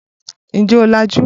Ǹjẹ́ o làjú?